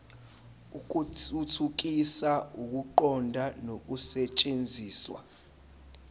ukuthuthukisa ukuqonda nokusetshenziswa